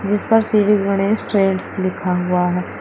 जिसपर श्री गणेश ट्रेड्स लिखा हुआ है।